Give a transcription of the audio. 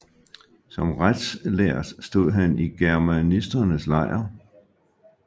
Som retslærd stod han i germanisternes lejr